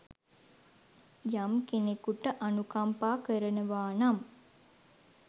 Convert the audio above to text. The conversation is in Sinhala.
යම් කෙනෙකුට අනුකම්පා කරනවානම්